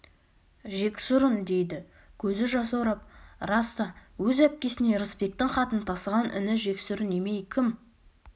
жексұрын дейді көзі жасаурап рас та өз әпкесіне ырысбектің хатын тасыған іні жексұрын емей кім